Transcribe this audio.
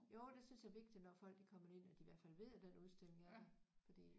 Jo det synes jeg er vigtigt når folk de kommer derind at de i hvert fald ved at den udstilling er der fordi